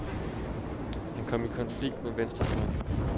Han kom i konflikt med venstrefløjen.